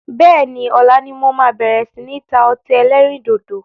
Bẹ́ẹ̀ni, ọ̀la ni mo máa bẹ̀rẹ̀ si ni ta ọtí ẹlẹ́rìndòdò